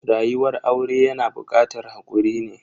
Rayuwar aure yana bukatar hakuri ne.